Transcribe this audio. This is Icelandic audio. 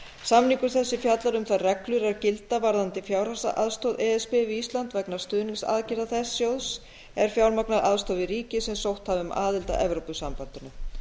samningur þessi fjallar um þær reglur er gilda varðandi fjárhagsaðstoð e s b við ísland vegna stuðningsaðgerða þess sjóðs er fjármagnar aðstoð við ríki sem sótt hafa um aðild að evrópusambandinu